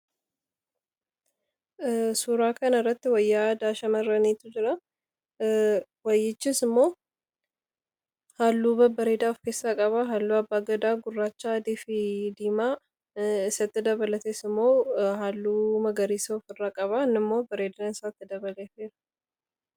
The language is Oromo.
Suuraa kanarratti wayyaa aadaa shamarranii yoo ta'u, wayyichis immoo halluu babbareedaa of keessaa qaba. Hallichis immoo gurraacha, adii fi diimaa isatti dabalatees immoo halluu magariisa qaba innimmoo bareedinasaa dabaluuf fayyada.